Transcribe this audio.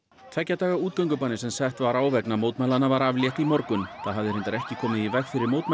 tveggja daga útgöngubanni sem sett var á vegna mótmælanna var aflétt í morgun það hafði reyndar ekki komið í veg fyrir mótmæli